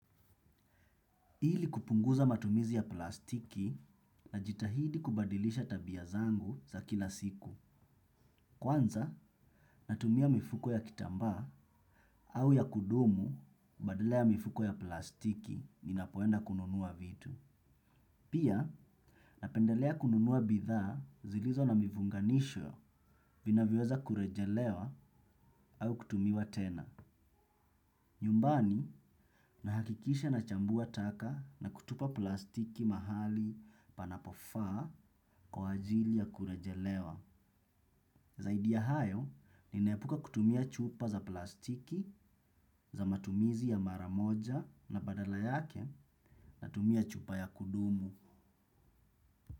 Ili kupunguza matumizi ya plastiki na jitahidi kubadilisha tabia zangu za kila siku. Kwanza, natumia mifuko ya kitamba au ya kudumu badala ya mifuko ya plastiki ni napoenda kununua vitu. Pia, napendelea kununua bidhaa zilizo na mifunganisho vinavyoweza kurejelewa au kutumiwa tena. Nyumbani, nahakikisha na chambua taka na kutupa plastiki mahali panapofaa kwa ajili ya kurejelewa. Zaidi ya hayo, ninepuka kutumia chupa za plastiki, za matumizi ya mara moja na badala yake natumia chupa ya kudumu.